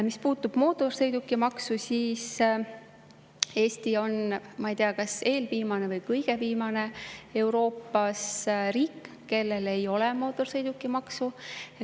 Mis puutub mootorsõidukimaksu, siis Eesti on, ma ei tea, kas eelviimane või kõige viimane Euroopa riik, kus ei ole mootorsõidukimaksu.